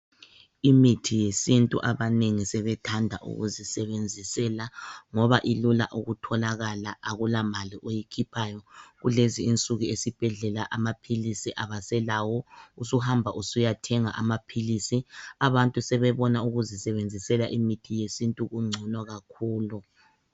Imithi yesintu abanengi sebethanda ukuzisebenzisela ngoba ilula ukutholakala akulamali oyikhiphayo. Kulezinsuku esibhedlela amaphilisi abaselawo usuhamba usiyathenga amaphilisi. Abantu sebebona ukuzisebenzisela imithi yesintu kungcono kakhulu.